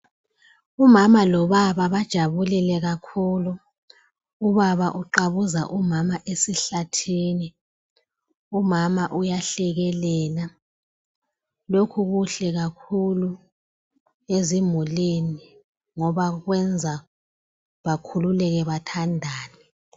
Umama lobaba bajabulile kakhulu, ubaba uqabuza umama esihlathini , umama uyahlekelela, lokhu kuhle kakhulu ezimulini ngoba kwenza bakhululeke bathandane.